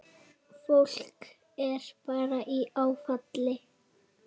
Fólk er bara í áfalli.